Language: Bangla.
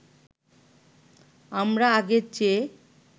আমরা আগের চেয়ে